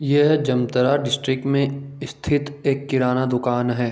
यह जमतारा डिस्ट्रिक्ट मे स्थित एक किराना दुकान है।